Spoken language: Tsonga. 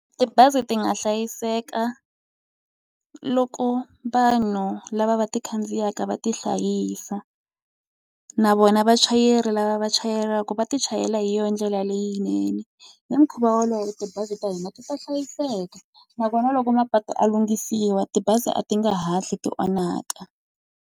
Tibazi ti nga hlayiseka loko vanhu lava va ti khandziyaka va ti hlayisa, na vona vachayeri lava vachayelaka ku va ti chayela hi yona ndlela leyinene. Hi mukhuva wolowo tibazi ta hina ti ta hlayiseka, nakona loko mapatu ya lunghisiwa tibazi a ti nge hatli ti onhaka.